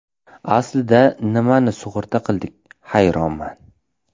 Aslida nimani sug‘urta qildik, hayronman.